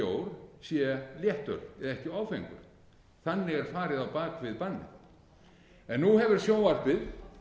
bjór sé léttöl bak áfengur þannig er farið á bak við bannið nú hefur sjónvarpið